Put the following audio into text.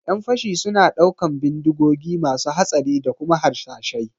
ƴan fashi suna ɗaukan bindigogi masu hatsari da kuma harsashai